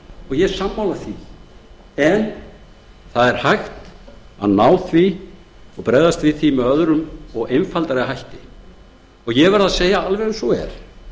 ég er sammála því en það er hægt að ná því og bregðast við því með öðrum og einfaldari hætti ég verð að segja alveg eins og er